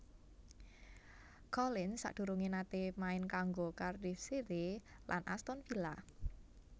Collins sadurungé naté main kanggo Cardiff City lan Aston Villa